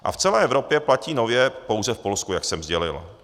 A v celé Evropě platí nově pouze v Polsku, jak jsem sdělil.